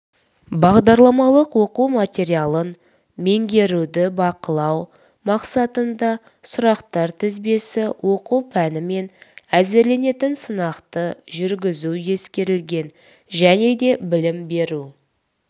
бағдарламалық оқу материалын меңгеруді бақылау мақсатында сұрақтар тізбесі оқу пәнімен әзірленетін сынақты жүргізу ескерілген және де білім беру